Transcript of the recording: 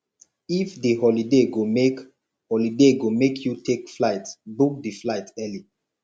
if di holiday go make holiday go make you take flight book di flight early